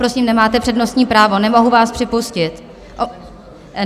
Prosím, nemáte přednostní právo, nemohu vás připustit.